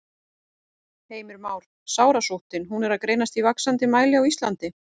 Heimir Már: Sárasóttin, hún er að greinast í vaxandi mæli á Íslandi?